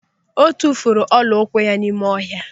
O tufuru ọla ụkwụ ya n'ime ọha.